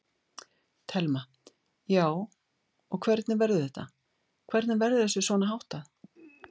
Telma: Já, og hvernig verður þetta, hvernig verður þessu svona háttað?